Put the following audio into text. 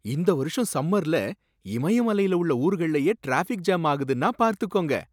இந்த வருஷம் சம்மர்ல இமய மலைல உள்ள ஊர்கள்ளயே ட்ராஃபிக் ஜேம் ஆகுதுன்னா பார்த்துக்கோங்க!